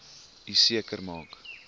u seker maak